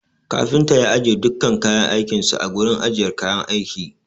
Kafinta ya ajiye dukkan kayan aikin sa a gurin ajiyar kayan aiki.